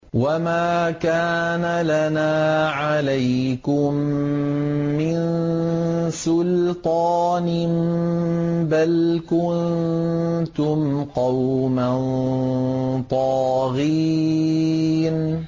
وَمَا كَانَ لَنَا عَلَيْكُم مِّن سُلْطَانٍ ۖ بَلْ كُنتُمْ قَوْمًا طَاغِينَ